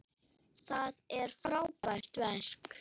Það er frábært verk.